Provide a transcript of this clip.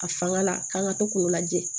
A fanga la k'an ka to k'o lajɛ